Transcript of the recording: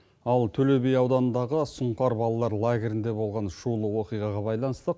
ал төлеби ауданындағы сұңқар балалар лагерінде болған шулы оқиғаға байланысты